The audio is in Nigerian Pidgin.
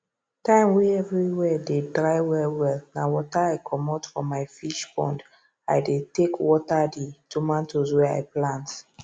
time wey everywhere dey dry well wellna water i commot for my fish pondi dey take water the tomatoes wey i plant